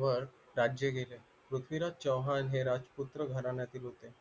वर राज्य केले पृथ्वीराज चव्हाण हे राजपुत्र राजघराण्यातील होते